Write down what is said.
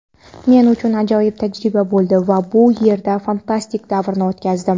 Men uchun ajoyib tajriba bo‘ldi va bu yerda fantastik davrni o‘tkazdim.